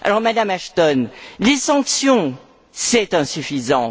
Madame Ashton, les sanctions, c'est insuffisant.